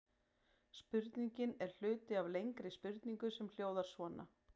Spurningin er hluti af lengri spurningu sem hljóðar svona: